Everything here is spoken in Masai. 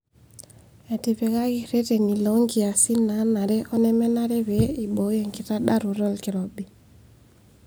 Etipikaki reteni loo nkiasin naanare onemenare pee eiboyoo ekitadaroto olkirobi.